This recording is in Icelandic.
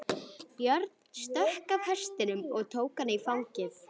Björn stökk af hestinum og tók hana í fangið.